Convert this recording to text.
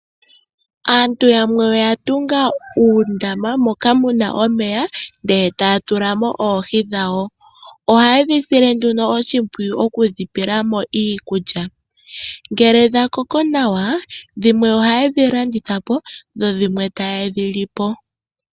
Aantu yamwe oya tunga uundama moka muna omeya etaya tulamo oohi dhawo. Oha yedhi sile nduno oshimpwiyu okudhi pelamo iikulya. Ngele dha koko nawa dhimwe ohaye dhi landitha po dho dhimwe taye dhi lipo.